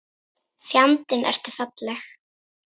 Fjandi ertu falleg